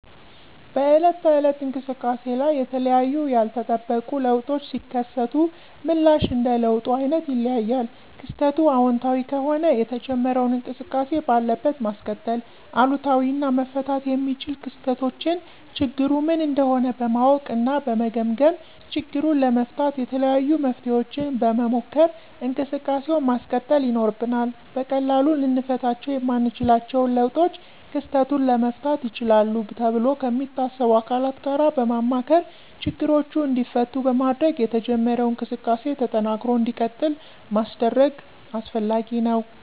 በዕለት ተዕለት እንቅሰቃሴ ላይ የተለያዩ ያልተጠበቁ ለውጦች ሲከሰቱ ምላሽ እንደ ለውጡ አይነት ይለያያል። ክስተቱ አወንታዊ ከሆነ የተጀመረውን እንቅስቃሴ ባለበት ማስቀጠል፤ አሉታዊ እና መፈታት የሚችሉ ክስተቶችን ችግሩ ምን እንደሆነ በማወቅ እና በመገምገም ችግሩን ለመፍታት የተለያዩ መፍትሔዎችን በመሞከር እንቅሰቃሴውን ማስቀጠል ይኖርብናል። በቀላሉ ልንፈታቸው የማንችለውን ለውጦች ክስተቱን ለመፍታት ይችላሉ ተብሎ ከሚታሰቡ አካላት ጋር በማማከር ችግሮቹ እንዲፈቱ በማድረግ የተጀመረው እንቅስቃሴ ተጠናክሮ እንዲቀጥል ማስደረግ አስፈላጊ ነው።